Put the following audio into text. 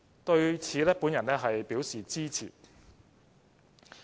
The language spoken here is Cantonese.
對此我表示支持。